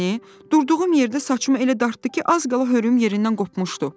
Durduğum yerdə saçımı elə dartdı ki, az qala hörüyüm yerindən qopmuşdu.